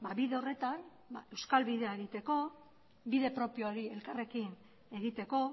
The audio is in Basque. bide horretan euskal bidea egiteko bide propio hori elkarrekin egiteko